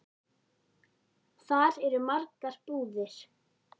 Þar eru margar búðir.